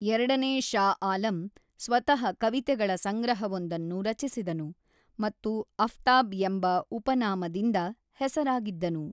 ಎರಡನೇ ಷಾ ಆಲಂ ಸ್ವತಃ ಕವಿತೆಗಳ ಸಂಗ್ರಹವೊಂದನ್ನು ರಚಿಸಿದನು ಮತ್ತು ಅಫ್ತಾಬ್ ಎಂಬ ಉಪನಾಮದಿಂದ ಹೆಸರಾಗಿದ್ದನು.